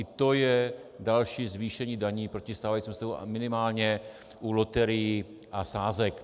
I to je další zvýšení daní proti stávajícímu stavu a minimálně u loterií a sázek.